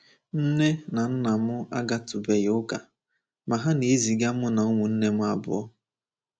Nne na nna m agatụbeghị ụka, ma ha na-eziga mụ na ụmụnne m abụọ.